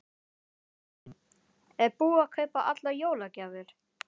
Lillý: Er búið að kaupa allar jólagjafir?